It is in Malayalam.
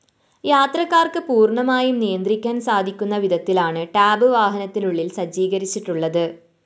യാത്രക്കാര്‍ക്ക് പൂര്‍ണമായും നിയന്ത്രിക്കാന്‍ സാധിക്കുന്ന വിധത്തിലാണ് ടാബ്‌ വാഹനത്തിനുളളില്‍ സജ്ജീകരിച്ചിട്ടുളളത്